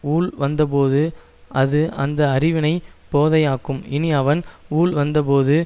ஊழ் வந்தபோது அது அந்த அறிவினை போதையாக்கும் இனி அவன் ஊழ் வந்தபோது